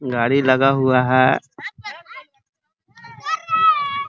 गाड़ी लगा हुआ है |